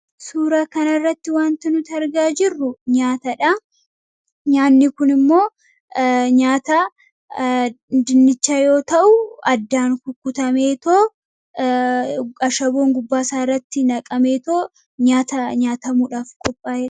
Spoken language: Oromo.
Suura kanarratti wanti nuti argaa jirru nyaatadha. Nyaanni kun immoo nyaata dinnichaa yoo ta'u, addaan kukkutamee ashaboon gubbaasaa irratti naqameetu nyaata nyaatamuudhaaf qophaa'eedha.